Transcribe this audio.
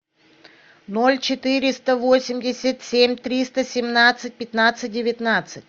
ноль четыреста восемьдесят семь триста семнадцать пятнадцать девятнадцать